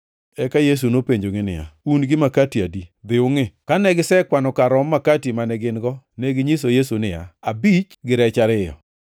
Eka Yesu nopenjogi niya, “Un gi makati adi? Dhi ungʼi.” Kane gisekwano kar romb makati mane gin-go neginyiso Yesu niya, “Abich, gi rech ariyo.”